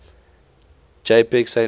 jpg saint mary